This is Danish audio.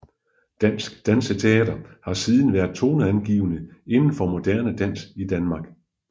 Dansk Danseteater har siden været toneangivende inden for moderne dans i Danmark